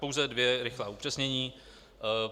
Pouze dvě rychlá upřesnění.